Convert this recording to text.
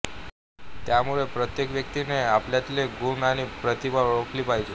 त्यामुळे प्रत्येक व्यक्तीने आपल्यातले गुण आणि प्रतिभा ओळखली पाहिजे